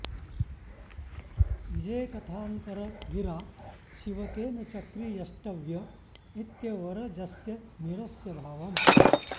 ईजेकथान्तर गिरा शिवतेन चक्री यष्टव्य इत्यवरजस्य निरस्य भावम्